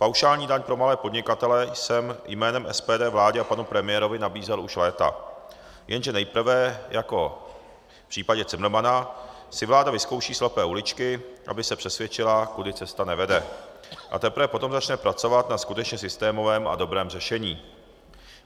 Paušální daň pro malé podnikatele jsem jménem SPD vládě a panu premiérovi nabízel už léta, jenže nejprve jako v případě Cimrmana si vláda vyzkouší slepé uličky, aby se přesvědčila, kudy cesta nevede, a teprve potom začne pracovat na skutečně systémovém a dobrém řešení.